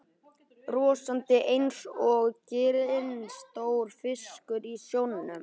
Brosandi einsog ginstór fiskur í sjónum.